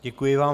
Děkuji vám.